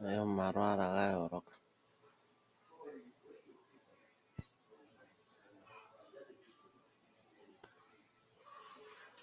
yina omalwaala gayooloka oyasimana noonkondo momagumbo oshoka oyo hayi kuutumbwa kaantu momagumbo ngele ya gongala.